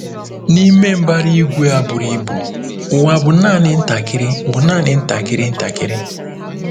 N'ime mbara igwe a buru ibu, ụwa bụ naanị ntakịrị bụ naanị ntakịrị ntakịrị.